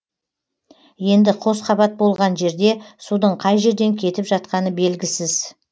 енді қос қабат болған жерде судың қай жерден кетіп жатқаны белгісіз